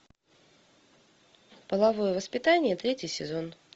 половое воспитание третий сезон